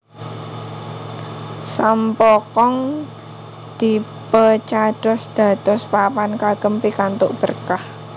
Sam Poo Kong dipeecados dados papan kagem pikantuk berkah